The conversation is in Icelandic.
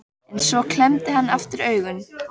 En svo klemmdi hann aftur augun.